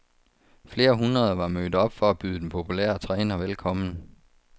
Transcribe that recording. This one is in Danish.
Flere hundrede var mødt op for at byde den populære træner velkommen.